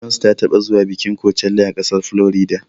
Beyonce ta taɓa zuwa bikin kocella a ƙasar Florida.